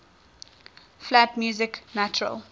flat music natural